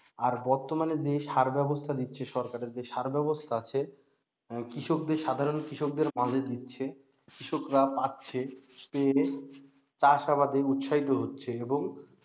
আর বর্তমানে যে সার ব্যবস্থা দিচ্ছে সরকারের যে সার ব্যবস্থা আছে কৃষকদের সাধারন কৃষকদের দিচ্ছে কৃষকরা পাচ্ছে পেয়ে চাষাবাদে উত্সাহিত হচ্ছে এবং,